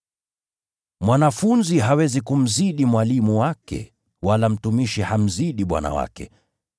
“Mwanafunzi hawezi kumzidi mwalimu wake, wala mtumishi hamzidi bwana wake.